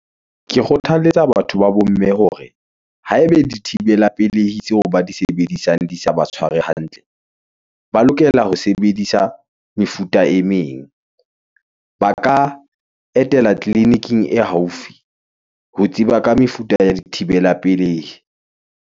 Ke kgothaletsa batho ba bomme hore, haebe dithibela pelehi tseo ba di sebedisang, di sa ba tshware hantle, ba lokela ho sebedisa mefuta e meng , ba ka etela clinic-ing e haufi , ho tseba ka mefuta ya di thibela pelehi.